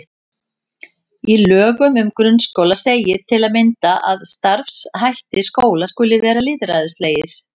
Í lögum um grunnskóla segir til að mynda að starfshættir skóla skuli vera lýðræðislegir.